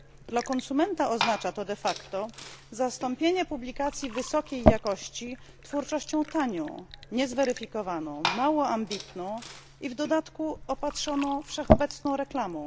Dla konsumenta oznacza to de facto zastąpienie publikacji wysokiej jakości twórczością tanią, niezweryfikowaną, mało ambitną i w dodatku opatrzoną wszechobecną reklamą.